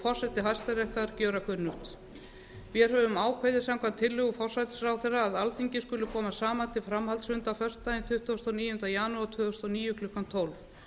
forseti hæstaréttar gjöra kunnugt vér höfum ákveðið samkvæmt tillögu forsætisráðherra að alþingi skuli koma saman til framhaldsfunda föstudaginn tuttugasta og níunda janúar tvö þúsund og tíu klukkan tólf